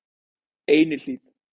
Einihlíð